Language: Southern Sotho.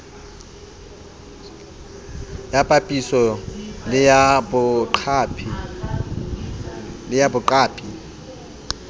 ya papiso le ya boqapi